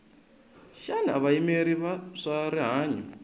xana vayimeri va swa rihanyu